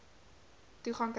toegang kry to